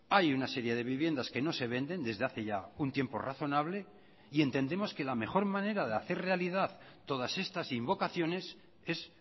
hay una serie de viviendas que no se venden desde hace ya un tiempo razonable y entendemos que la mejor manera de hacer realidad todas estas invocaciones es